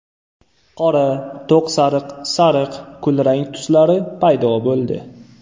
Qora, to‘q sariq, sariq, kulrang tuslari paydo bo‘ldi.